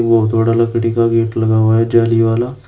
वो थोड़ा लकड़ी का गेट लगा हुआ है जाली वाला।